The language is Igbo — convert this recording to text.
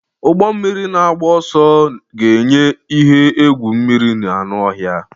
Ụgbọ mmiri na-agba ọsọ ga-enye ihe egwu mmiri na anụ ọhịa.